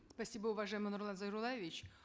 спасибо уважаемый нурлан зайроллаевич